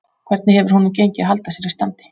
Hvernig hefur honum gengið að halda sér í standi?